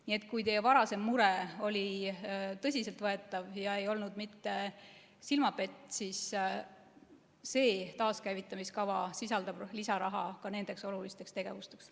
Nii et kui teie varasem mure oli tõsiselt võetav ega olnud silmapett, siis see taaskäivitamise kava sisaldab lisaraha ka nendeks olulisteks tegevusteks.